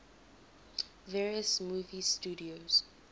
various movie studios